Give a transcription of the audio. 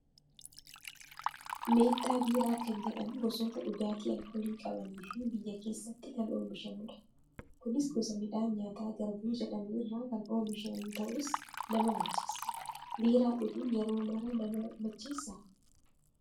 Meettaa biiraa kan jedhamu gosoota dhugaatii alkoolii qabanii fi biyya keessatti kan oomishamudha. Kunis gosa midhaan nyaataa garbuu jedhamu irraa kan oomishamuu ta'us nama macheessa. Biiraa dhuguun yeroo maraa nama macheessaa?